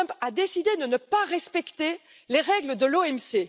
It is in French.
Trump a décidé de ne pas respecter les règles de l'OMC.